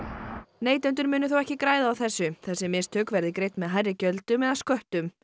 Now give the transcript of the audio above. neytendur muni þó ekki græða mikið á þessu þessi mistök verði greidd með hærri gjöldum eða sköttum